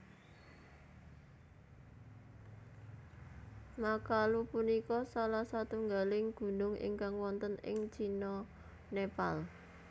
Makalu punika salah satunggaling gunung ingkang wonten ing Cina Nepal